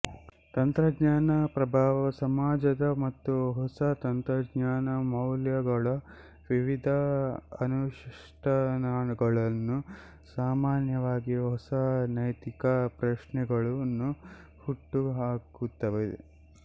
ತಂತ್ರಜ್ಞಾನ ಪ್ರಭಾವ ಸಮಾಜದ ಮತ್ತು ಹೊಸ ತಂತ್ರಜ್ಞಾನದ ಮೌಲ್ಯಗಳ ವಿವಿಧ ಅನುಷ್ಠಾನಗಳನ್ನು ಸಾಮಾನ್ಯವಾಗಿ ಹೊಸ ನೈತಿಕ ಪ್ರಶ್ನೆಗಳನ್ನು ಹುಟ್ಟುಹಾಕುತ್ತದೆ